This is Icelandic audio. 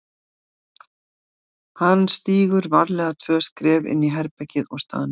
Hann stígur varlega tvö skref inn í herbergið og staðnæmist.